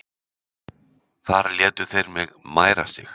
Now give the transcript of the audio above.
Þar létu þeir mig mæra sig!